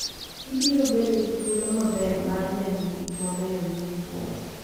Ibiro bedo gi thuolo maber mar neno gik mabeyo miwuoro.